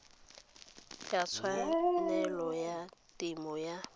ya tshwanelo ya temo ya